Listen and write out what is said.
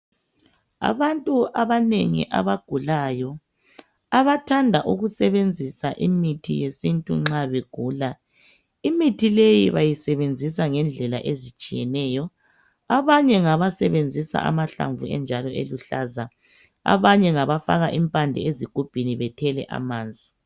Abantu abanengi abagulayo abathanda ukusebenzi imithi yesintu nxa begula imithi leyi bawisebenzisa ngendlela ezitshiyeneyo abanye ngabesebenzisa amahlamvu enjalo eluhlaza abanye ngaba faka impande ezigubhini bethele amanzi